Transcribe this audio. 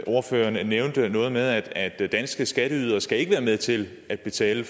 ordføreren nævnte noget med at at danske skatteydere ikke skal være med til at betale